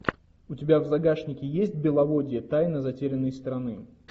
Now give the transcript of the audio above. у тебя в загашнике есть беловодье тайна затерянной страны